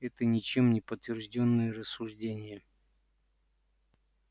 это ничем не подтверждённые рассуждения